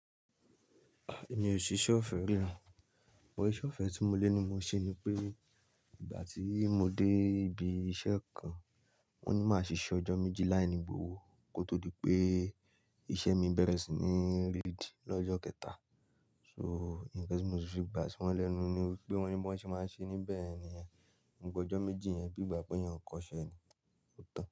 Mi ò ṣìṣẹ́ ọ̀fẹ́ rárá mo iṣe ọ̀fẹ́ tí mo lé ni mo ṣe ni pé ìgbà tí mo dé ibi iṣẹ́ kan, wón ní má ṣìṣe ọjọ́ méjì láìní gbòòòò ó kó tó di pé iṣẹ́ mi bẹ̀rẹ̀ sí ní rídì lọ́jọ́ kẹta. So nǹkan tí mo ṣe fi gbà sí wọ́n lẹ́nu ni pé wón ní bí wón ṣe máa ṣe níbẹ̀ yẹn nìyẹn, wípé ọjọ́ méjì yẹn bí ìgbà pé èèyàn ò kọ iṣẹ́ ni, ó tán.